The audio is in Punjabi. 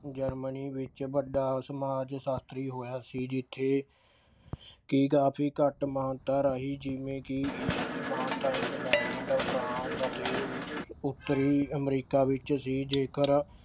Germany ਵਿੱਚ ਵੱਡਾ ਸਮਾਜਸ਼ਾਸ਼ਤਰੀ ਹੋਇਆ ਸੀ ਜਿੱਥੇ ਕਿ ਕਾਫੀ ਘੱਟ ਮਾਨਤਾ ਰਾਹੀਂ ਜਿਵੇਂ ਕਿ ਇਸਦੀ ਮਾਨਤਾ England, France ਅਤੇ ਉਸ ਅਹ ਉੱਤਰੀ America ਵਿੱਚ ਸੀ ਜੇਕਰ